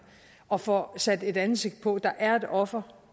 og får sat et ansigt på der er et offer